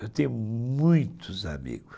Eu tenho muitos amigos.